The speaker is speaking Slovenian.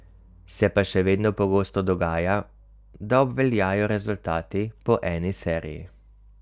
Se pa še vedno pogosto dogaja, da obveljajo rezultati po eni seriji.